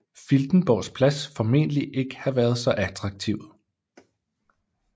Filtenborgs Plads formentlig ikke have været så attraktiv